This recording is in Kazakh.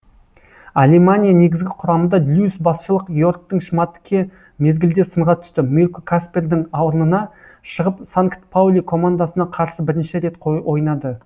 алемания негізгі құрамында льюис басшылық йоргтің шмадтке мезгілде сынға түсті мирко каспердың орнына шығып санкт паули командасына қарсы бірінші рет ойнады